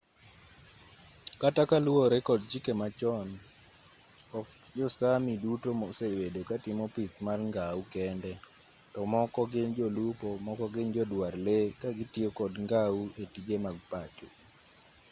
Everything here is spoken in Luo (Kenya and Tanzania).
kata kaluwore kod chike machon ok jo-sámi duto mosebedo katimo pith mar ngau kende to moko gin jolupo moko gin joduar lee ka gitiyo kod ngau e tije mag pacho